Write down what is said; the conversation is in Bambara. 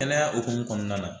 Kɛnɛya hukumu kɔnɔna na